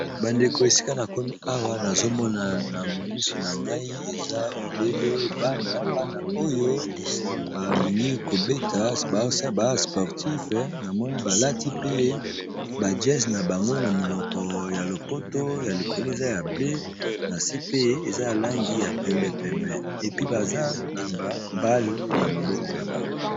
Bandeko esika na komi awa nazomona na misu na ngai eza obele bana, bana oyo balingi kobeta eza ba sportif na moni balati pe bajase na bango na monoko ya lopoto na likolo eza ya ble na se pe eza langi ya pembe, pembe epi baza na bale na maboko na bango.